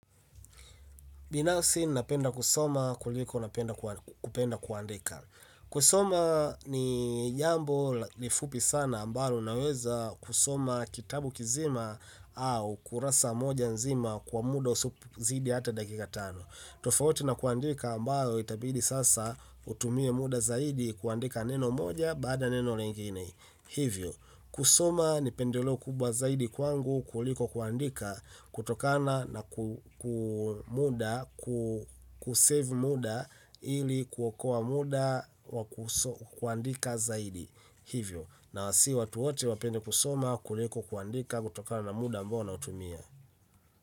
Binafsi napenda kusoma kuliko napenda kuandika. Kusoma ni jambo fupi sana ambalo naweza kusoma kitabu kizima au kurasa moja nzima kwa muda usiozidi hata dakika tano. Tofauti na kuandika ambalo itabidi sasa utumie muda zaidi kuandika neno moja baada ya neno lingine. Hivyo, kusoma ni pendeleo kubwa zaidi kwangu kuliko kuandika, kutokana na muda, kusave muda ili kuokoa muda wa kuandika zaidi. Hivyo, na wasihi watu wote wapende kusoma, kuliko kuandika, kutokana na muda ambao nautumia.